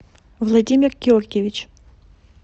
владимир георгиевич